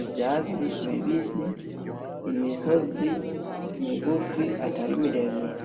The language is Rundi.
ivyatsi bibisi imisozi migufi atarimiremire.